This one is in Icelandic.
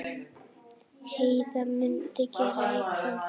Heiða mundi gera í kvöld.